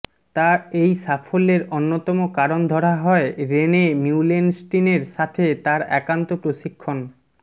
তার এই সাফল্যের অন্যতম কারণ ধরা হয় রেনে মিউলেনস্টিনের সাথে তার একান্ত প্রশিক্ষণ